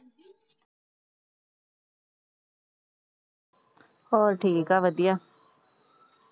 ਹੋਰ ਠੀਕ ਏ ਵਧੀਆ।